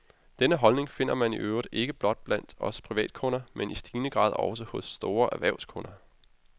Denne holdning finder man i øvrigt ikke blot blandt os privatkunder, men i stigende grad også hos store erhvervskunder.